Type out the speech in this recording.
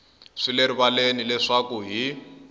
swi le rivaleni leswaku hi